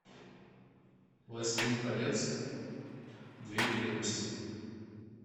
властелин колец две крепости